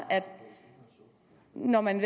når man